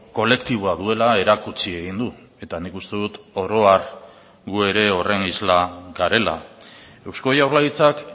kolektiboa duela erakutsi egin du eta nik uste dut oro har gu ere horren isla garela eusko jaurlaritzak